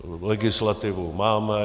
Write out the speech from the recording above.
Legislativu máme.